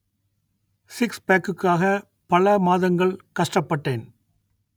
சிக்ஸ்பேக்குக்காக பல மாதங்கள் கஷ்டப்பட்டேன்